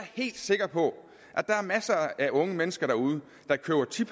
helt sikker på at der er masser af unge mennesker derude der køber ti